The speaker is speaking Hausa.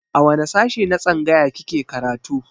A wane sashe na tsangaya kike karatu